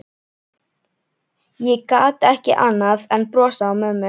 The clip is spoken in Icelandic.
Ég gat ekki annað en brosað að mömmu.